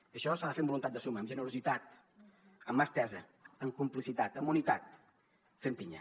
i això s’ha de fer amb voluntat de suma amb generositat amb mà estesa amb complicitat amb unitat fent pinya